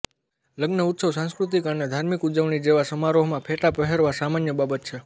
લગ્ન ઉત્સવ સાંસ્કૃતિક અને ધાર્મિક ઉજવણી જેવા સમારોહમાં ફેટા પહેરવા સામાન્ય બાબત છે